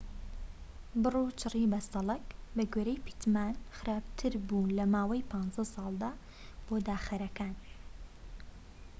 بڕ و چڕی بەستەڵەک بە گوێرەی پیتمان خراپترین بووە لە ماوەی 15 ساڵدا بۆ داخەرەکان